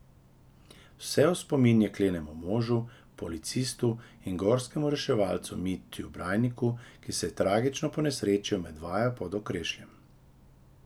Vse v spomin jeklenemu možu, policistu in gorskemu reševalcu Mitju Brajniku, ki se je tragično ponesrečil med vajo pod Okrešljem.